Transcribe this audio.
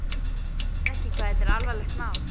Sérðu ekki hvað þetta er alvarlegt mál?